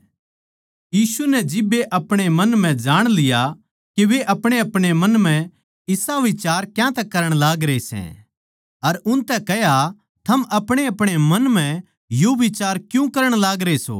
यीशु नै जिब्बे आपणे मन म्ह जाण लिया के वे अपणेअपणे मन म्ह इसा बिचार क्यांतै करण लागरे सै अर उनतै कह्या थम अपणेअपणे मन म्ह यो बिचार क्यूँ करण लागरे सो